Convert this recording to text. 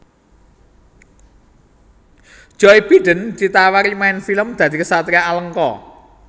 Joe Biden ditawani main film dadi ksatria Alengka